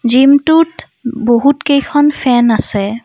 Gym টোত বহুত কেইখন ফেন আছে।